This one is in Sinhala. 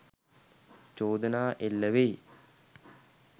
චෝදනා එල්ල වෙයි